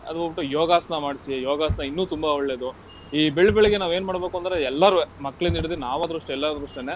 ಅದೊಂದು ಬಿಟ್ಟು ಯೋಗಾಸನ ಮಾಡ್ಸಿ, ಯೋಗಾಸನ ಇನ್ನೂ ತುಂಬಾ ಒಳ್ಳೇದು. ಈ ಬೆಳ್ಬೆಳಗ್ಗೆ ನಾವೇನ್ ಮಾಡ್ಬೇಕು ಅಂದ್ರೆ ಎಲ್ಲಾರುವೇ ಮಕ್ಳಿಂದ ಹಿಡಿದು ನಾವಾದ್ರೂ ಅಷ್ಟೇ ಎಲ್ಲಾರಾದ್ರೂ ಅಷ್ಟೇನೆ.